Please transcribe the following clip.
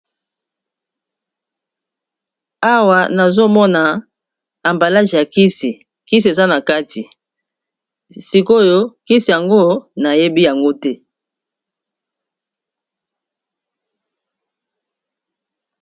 Awa nazomona emballage ya kisi, kisi eza na kati sikoyo kisi yango nayebi yango te.